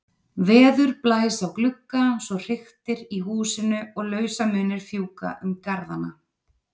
Veður blæs á glugga svo hriktir í húsinu og lausamunir fjúka um garðana.